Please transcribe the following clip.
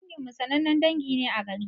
Dangin mu sanannen dangi ne a garin.